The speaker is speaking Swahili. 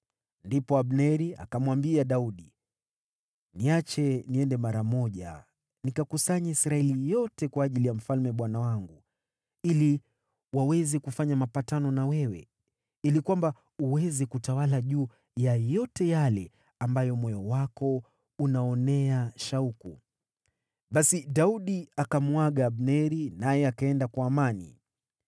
Ndipo Abneri akamwambia Daudi, “Niache niende mara moja nikakusanye Israeli yote kwa ajili ya mfalme bwana wangu, ili waweze kufanya mapatano na wewe, ili kwamba uweze kutawala juu ya yote yale ambayo moyo wako unaonea shauku.” Basi Daudi akamuaga Abneri, naye akaenda kwa amani.